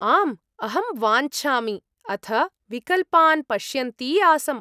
आम्, अहं वाञ्छामि अथ विकल्पान् पश्यन्ती आसम्।